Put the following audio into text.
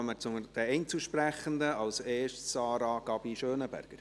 Dann kommen wir zu den Einzelsprechenden, zuerst zu Sarah Gabi Schönenberger.